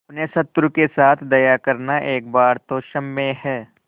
अपने शत्रु के साथ दया करना एक बार तो क्षम्य है